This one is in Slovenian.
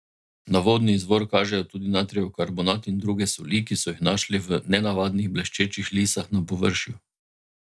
Na vodni izvor kažejo tudi natrijev karbonat in druge soli, ki so jih našli v nenavadnih bleščečih lisah na površju.